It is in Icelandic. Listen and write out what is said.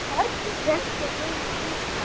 Trekkt er gömul klukka.